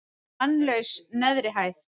Mannlaus neðri hæð.